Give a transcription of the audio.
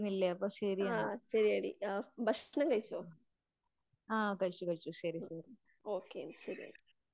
ആ ശരിയെടി നീ ഭക്ഷണം കഴിച്ചോ? ഓക്കേ ശരിയെന്ന.